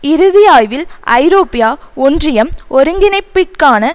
இறுதி ஆய்வில் ஐரோப்பிய ஒன்றியம் ஒருங்கிணைப்பிற்கான